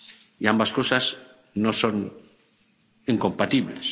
Y ambas cosas no son incompatibles.